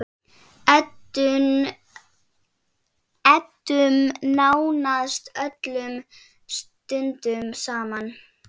Eyddum nánast öllum stundum saman.